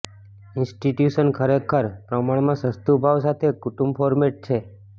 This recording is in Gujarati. ઇન્સ્ટિટ્યુશન ખરેખર પ્રમાણમાં સસ્તું ભાવ સાથે કુટુંબ ફોર્મેટ છે